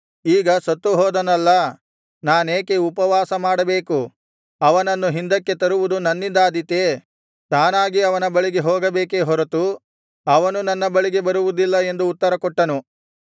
ಈಗ ಸತ್ತುಹೋದನಲ್ಲಾ ನಾನೇಕೆ ಉಪವಾಸಮಾಡಬೇಕು ಅವನನ್ನು ಹಿಂದಕ್ಕೆ ತರುವುದು ನನ್ನಿಂದಾದೀತೆ ನಾನಾಗಿ ಅವನ ಬಳಿಗೆ ಹೋಗಬೇಕೇ ಹೊರತು ಅವನು ನನ್ನ ಬಳಿಗೆ ಬರುವುದಿಲ್ಲ ಎಂದು ಉತ್ತರ ಕೊಟ್ಟನು